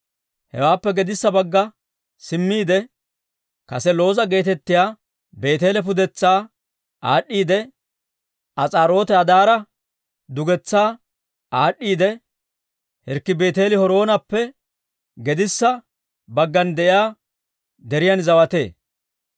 Hewaappe gedissa bagga simmiide, kase Looza geetettiyaa Beeteele pudetsaa aad'd'iidde, As'aarooti-Addaara dugetsaa aad'd'iidde, Hirkki Beeti-Horoonappe gedissa baggan de'iyaa deriyaan zawatee.